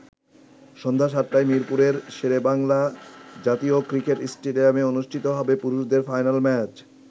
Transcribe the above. সন্ধ্যা ৭টায় মিরপুরের শেরেবাংলা জাতীয় ক্রিকেট স্টেডিয়ামে অনুষ্ঠিত হবে পুরুষদের ফাইনাল ম্যাচ।